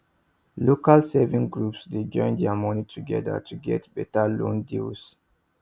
local savings groups dey join their moni together to get better loan deals